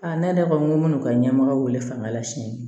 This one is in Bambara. ne yɛrɛ ko ŋo n'u ka ɲɛmɔgɔ bele fa la sini